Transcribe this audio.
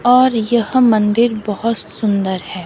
और यह मंदिर बहुत सुंदर है।